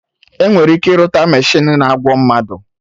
Enwere ike irụta mechinu na-agwo mmadụ